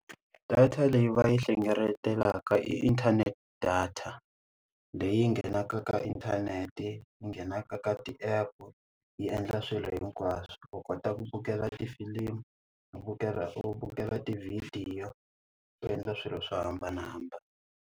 Data leyi va yi hlengeletaka inthanete data. Leyi nghenaka eka inthanete, ni nghenaka ka ti app, yi endla swilo hinkwaswo. U kota ku vukela tifilimu, u vukela u vukela tivhidiyo. U endla swilo swo hambanahambana.